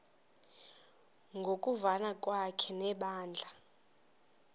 ngokuvana kwakhe nebandla